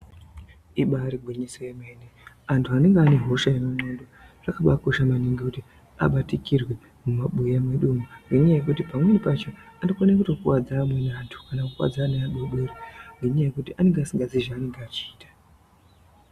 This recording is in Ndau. Ibari gwinyiso remene, antu ane hosha yemudhlondo zvakabaakosha maningi kuti abatikirwe mumabuya mwedumwo ngenyaa yekuti pamweni pacho anokone kutokuwadza amweni antu ngekuti anenge asikazii zveanenge echiita.